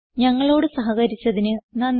ഞങ്ങളോട് സഹകരിച്ചതിന് നന്ദി